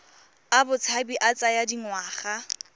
a botshabi a tsaya dingwaga